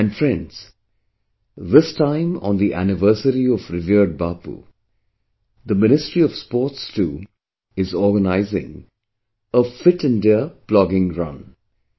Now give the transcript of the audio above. And friends this time on the anniversary of revered Bapu, the Ministry of Sports too is organizing a 'Fit India Plogging Run'